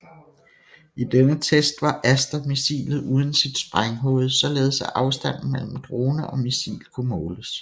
I denne test var Aster missilet uden sit sprænghoved således at afstanden mellem drone og missil kunne måles